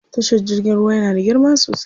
Tashar jirgin ruwa yana da girma sosai.